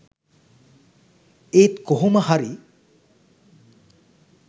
ඒත් කොහොමහරි